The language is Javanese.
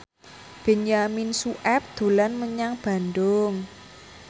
Benyamin Sueb dolan menyang Bandung